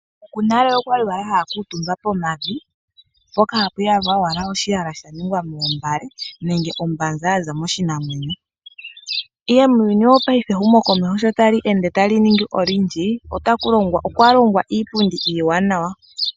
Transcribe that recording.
Ookuku nale okwa li wala haya kuutumba pomavi, mpoka ha pu yalwa owala oshiyala shingwa moombale nenge ombanza ya za moshinamwenyo. Ihe muuyuni wopaife ehumokomeho sho tali ende ta li ningi olindji, otaku longwa okwa longwa iipundi iiwanawa.